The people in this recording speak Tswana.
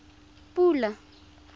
pula